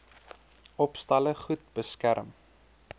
opstalle goed beskerm